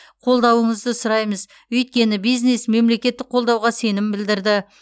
қолдауыңызды сұраймыз өйткені бизнес мемлекеттік қолдауға сенім білдірді